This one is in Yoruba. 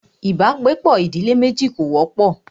ibàgbepọ̀ ìdílé méjì kò wọ́pọ̀.